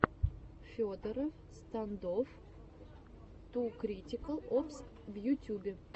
федороффф стандофф ту критикал опс в ютюбе